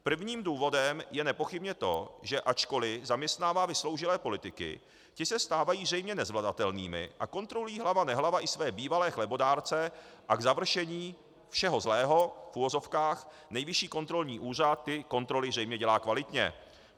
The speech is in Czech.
Prvním důvodem je nepochybně to, že ačkoli zaměstnává vysloužilé politiky, ti se stávají zřejmě nezvladatelnými a kontrolují hlava nehlava i své bývalé chlebodárce a k završení všeho zlého, v uvozovkách, Nejvyšší kontrolní úřad ty kontroly zřejmě dělá kvalitně.